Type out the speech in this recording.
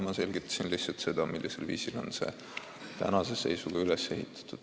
Ma selgitasin lihtsalt seda, millisel viisil on süsteem praegu üles ehitatud.